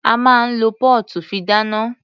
A máa ń lo póòtù fi dáná.